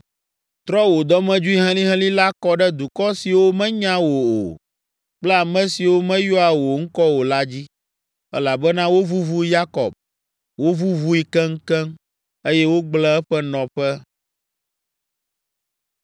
Trɔ wò dɔmedzoe helĩhelĩ la kɔ ɖe dukɔ siwo menya wò o kple ame siwo meyɔa wò ŋkɔ o la dzi. Elabena wovuvu Yakob, wovuvui keŋkeŋ, eye wogblẽ eƒe nɔƒe.